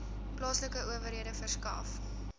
plaaslike owerhede verskaf